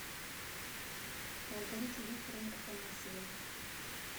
маргарите викторовне афанасьевой